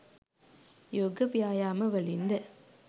යෝග ව්‍යායාමවලින්ද